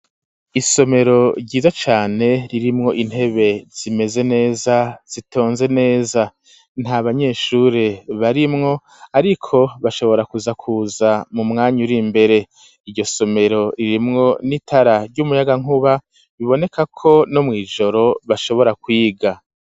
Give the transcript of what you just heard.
Isomero ryiza cane, ririmwo intebe zimeze neza zitonze neza, nta banyeshure barimwo ariko bashobora kuza kuza mu mwanya uri mbere, iryo somero ririmwo n'itara ry'umuyagankuba, biboneka ko no mw'ijoro bashobora kwiga.